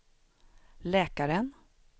läkaren